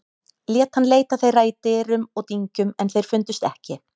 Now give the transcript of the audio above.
Lét hann leita þeirra í dyrum og dyngjum en þeir fundust ekki.